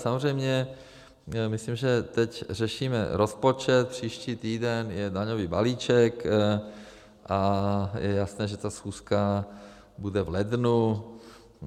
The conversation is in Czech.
Samozřejmě myslím, že teď řešíme rozpočet, příští týden je daňový balíček a je jasné, že ta schůzka bude v lednu.